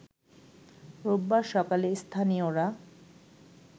রোববার সকালে স্থানীয়রা